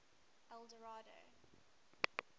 eldorado